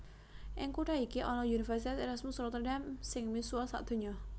Ing kutha iki ana Universitas Erasmus Rotterdam sing misuwur sadonya